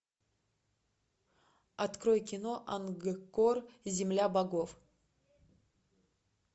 открой кино ангкор земля богов